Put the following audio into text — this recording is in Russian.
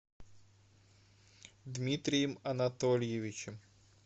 дмитрием анатольевичем